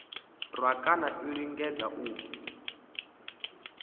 rwa kana a lingedza u